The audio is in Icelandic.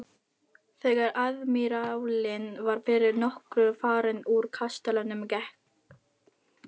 Þegar aðmírállinn var fyrir nokkru farinn úr kastalanum gekk